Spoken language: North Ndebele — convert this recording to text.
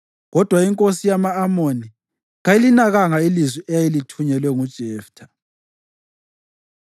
Kodwa inkosi yama-Amoni kayilinakanga ilizwi eyayilithunyelwe nguJeftha.